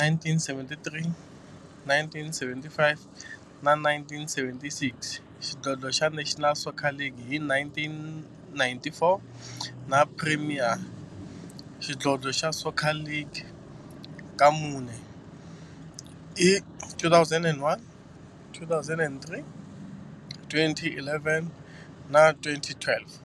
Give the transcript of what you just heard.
1973, 1975 na 1976, xidlodlo xa National Soccer League hi 1994, na Premier Xidlodlo xa Soccer League ka mune, hi 2001, 2003, 2011 na 2012.